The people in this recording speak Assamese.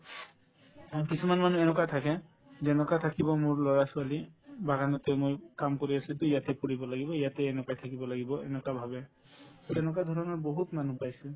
আৰু কিছুমান মানুহ এনেকুৱা থাকে যেনেকুৱা থাকিব মোৰ লৰা-ছোৱালী বাগানতে আমি কাম কৰি আছিলো to ইয়াতে কৰিব লাগিব ইয়াতে এনেকুৱাই থাকিব লাগিব এনেকুৱা ভাবে to এনেকুৱা ধৰণৰ বহুত মানুহ পাইছো